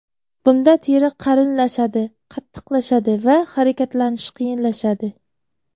Bunda teri qalinlashadi, qattiqlashadi va harakatlanish qiyinlashadi.